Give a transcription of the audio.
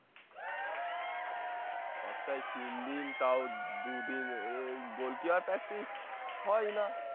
সপ্তহাহে তিন দিন তাও দুদিন গোলকি হওয়ার practice হয়না